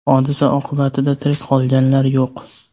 Hodisa oqibatida tirik qolganlar yo‘q.